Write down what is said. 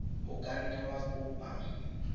o ka nne wa kopa